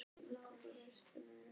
Höskuldur, hver er dagsetningin í dag?